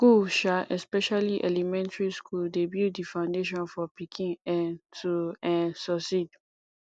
school um especially elementry school dey build di foundation for pikin um to um succeed